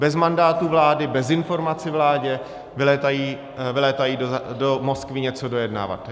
Bez mandátu vlády, bez informací vládě, vylétají do Moskvy něco dojednávat.